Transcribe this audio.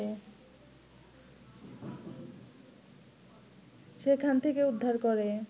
সেখান থেকে উদ্ধার করে